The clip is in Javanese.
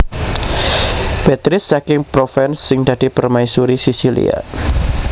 Béatrice saking Provence sing dadi permaisuri Sisilia